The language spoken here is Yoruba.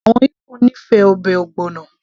àwọn Igbo nífẹ̀ẹ́ ọbẹ̀ ogbono